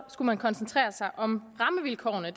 skulle man koncentrere sig om rammevilkårene